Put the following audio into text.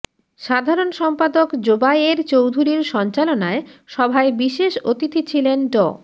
সাধারণ সম্পাদক জোবায়ের চৌধুরীর সঞ্চালনায় সভায় বিশেষ অতিথি ছিলেন ড